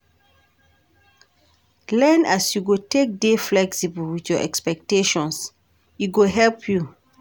Learn as you go take dey flexible with your expectations, e go help you.